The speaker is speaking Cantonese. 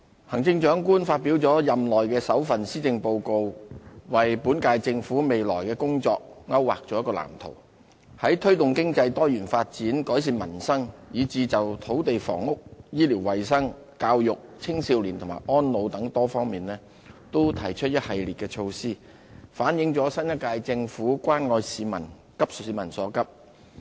行政長官發表了任內首份施政報告，為本屆政府未來的工作勾劃了一個藍圖，在推動經濟多元發展、改善民生，以至就土地房屋、醫療衞生、教育、青少年和安老等多方面都提出了一系列措施，反映了新一屆政府關愛市民、急市民所急。